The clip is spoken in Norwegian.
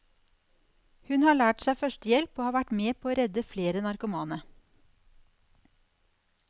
Hun har lært seg førstehjelp og har vært med på å redde flere narkomane.